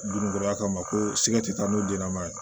Dunkɔrɔya kama ko sigati taa n'u denna ye